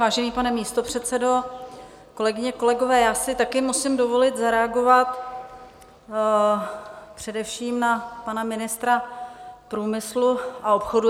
Vážený pane místopředsedo, kolegyně, kolegové, já si také musím dovolit zareagovat především na pana ministra průmyslu a obchodu.